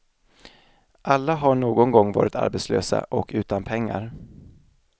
Alla har någon gång varit arbetslösa och utan pengar.